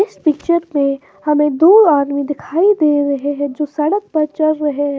इस पिक्चर में हमें दो आदमी दिखाई दे रहे हैं जो सड़क पर चल रहे हैं।